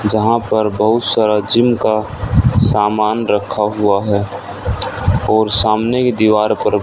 जहां पर बहुत सारा जिम का सामान रखा हुआ है और सामने की दीवार पर--